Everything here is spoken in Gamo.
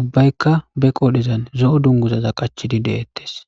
ubbaykka be qoodhezan zo'o dunguzaza qachidi de'eettes